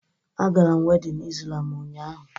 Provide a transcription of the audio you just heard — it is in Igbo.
Agara m wedịn Izlam ụnyaahụ